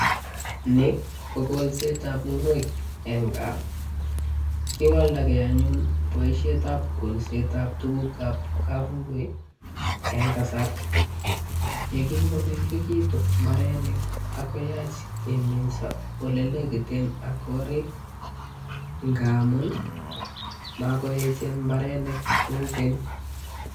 Ni ko kolsetab ngwek eng gaa, kiwaldakei anyun boisietab kolsetab tugukab kapungui eng kasar, ye kingomengekitu mbarenik ak koyach keminso olelekiten ak korik, ngamun makoechen mbarenik kou keny.